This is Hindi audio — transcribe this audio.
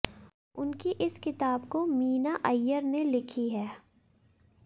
उनकी इस किताब को मीना अय्यर ने लिखी है